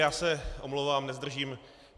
Já se omlouvám, nezdržím.